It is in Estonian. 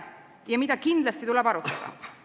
... ja mida kindlasti tuleb arutada.